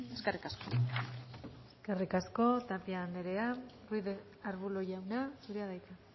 eskerrik asko eskerrik asko tapia anderea ruiz de arbulo jauna zurea da hitza